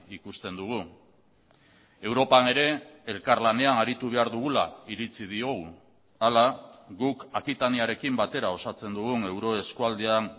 ikusten dugu europan ere elkarlanean aritu behar dugula iritzi diogu hala guk akitaniarekin batera osatzen dugun euro eskualdean